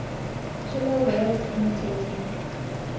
killer whales imitating